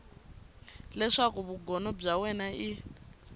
leswaku vugono bya wena i